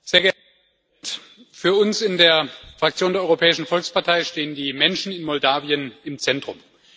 Herr Präsident! Für uns in der Fraktion der Europäischen Volkspartei stehen die Menschen in Moldau im Zentrum.